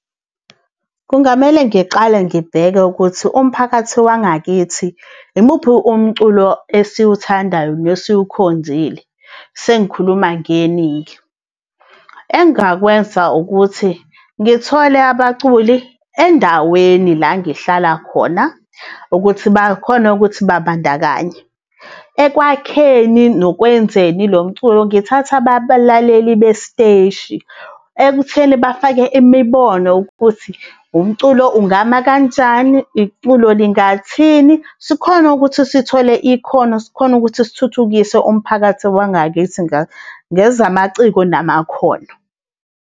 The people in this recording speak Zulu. Kungamele ngiqale ngibheke ukuthi umphakathi wangakithi, yimuphi umculo esiwuthandayo nesiwukhonzile, sengikhuluma ngeningi. Engakwenza ukuthi ngithole abaculi endaweni la ngihlala khona, ukuthi bakhone ukuthi babandakanye. Ekwakheni nokwenzeni lo mculo ngithathe abalaleli besiteshi, ekutheni bafake imibono ukuthi, umculo ungama kanjani, iculo lingathini, sikhone ukuthi sithole ikhono, sikhone ukuthi sithuthukise umphakathi wangakithi ngezamaciko namakhono.